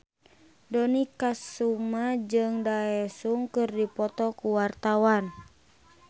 Dony Kesuma jeung Daesung keur dipoto ku wartawan